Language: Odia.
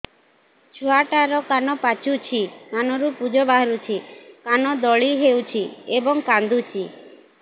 ଛୁଆ ଟା ର କାନ ପାଚୁଛି କାନରୁ ପୂଜ ବାହାରୁଛି କାନ ଦଳି ହେଉଛି ଏବଂ କାନ୍ଦୁଚି